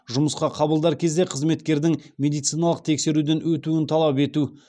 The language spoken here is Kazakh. жұмысқа қабылдар кезде қызметкердің медициналық тексеруден өтуін талап ету